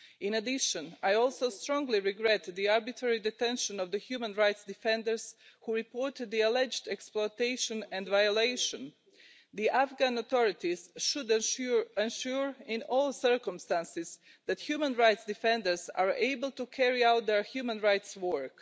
In addition, I also strongly regret the arbitrary detention of the human rights defenders who reported the alleged exploitation and violation. The Afghan authorities should ensure in all circumstances that human rights defenders are able to carry out their human rights work.